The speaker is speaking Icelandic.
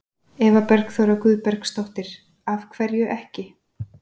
Eva Bergþóra Guðbergsdóttir: Af hverju ekki?